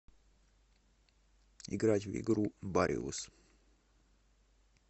играть в игру бариус